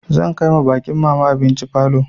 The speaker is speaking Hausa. Zan kai ma baƙin mama abinci falo.